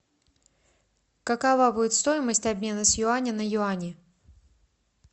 какова будет стоимость обмена с юаня на юани